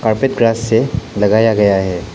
सफेद ग्रास से लगाया गया है।